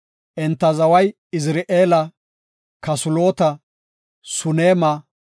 Enta zaway Izra7eele, Kasulota, Suneema,